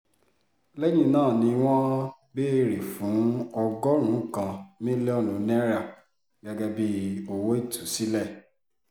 lẹ́yìn náà ni wọ́n béèrè fún ọgọ́rùn-ún kan mílíọ̀nù náírà gẹ́gẹ́ bíi owó ìtúsílẹ̀